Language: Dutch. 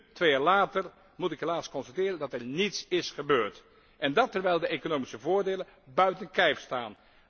Nu, twee jaar later, moet ik helaas constateren dat er niets is gebeurd. En dat terwijl de economische voordelen buiten kijf staan.